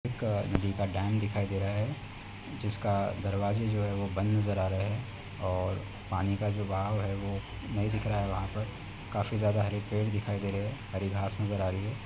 एक नदी का डेम दिखाई दे रहा है जिसका दरवाजे जो है वो बंद नजर आ रहे है और पानी का जो बहाव है वो नही दिख रहा है वहां पर। काफी ज्यादा हरे पेड़ दिखाई दे रहे हैं हरी घास नजर आ रही है।